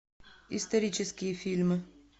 исторические фильмы